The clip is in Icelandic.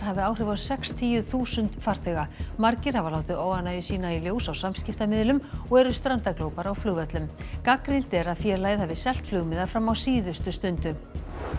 hafi áhrif á sextíu þúsund farþega margir hafa látið óánægju sína í ljós á samskiptamiðlum og eru strandaglópar á flugvöllum gagnrýnt er að félagið hafi selt flugmiða fram á síðustu stundu